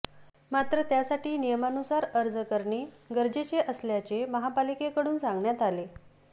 मात्र त्यासाठी नियमानुसार अर्ज करणे गरजेचे असल्याचे महापालिकेकडून सांगण्यात आले